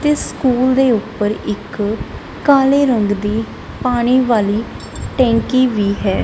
ਤੇ ਸਕੂਲ ਦੇ ਉੱਪਰ ਇੱਕ ਕਾਲੇ ਰੰਗ ਦੀ ਪਾਨੀ ਵਾਲੀ ਟੈਂਕੀ ਵੀ ਹੈ।